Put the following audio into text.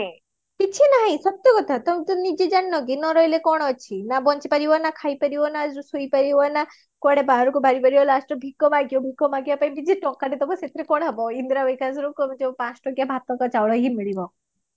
କିଛି ନାଇଁ ସତ କଥା ତମେ ତ ନିଜେ ଜାଣିନ କି ନ ରହିଲେ କଣ ଅଛି ନା ବଞ୍ଚିପାରିବା ନା ଖାଇ ପାଇବା ନା ଏ ଯୋଉ ଶୋଇ ପାରିବା ନା କୁଆଡେ ବାହରକୁ ଯାଇ ପାଇବା last କୁ ଭିକ ମାଗିବା ଭିକ ମାଗିବା ପାଇଁ ଯିଏ ଟଙ୍କାଟେ ଦବ ସେଥିରେ କୁଆଡେ ହବ ଇନ୍ଦିରା ବିକାଶର ପୁଣି ଯୋଉ ପାଞ୍ଚ ଟଙ୍କିଆ ଭାତକ ଚାଉଳ ହିଁ ମିଳିବ